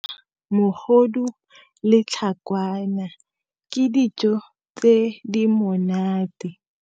Mogodu le tlhakwana, ke dijo tse di monate.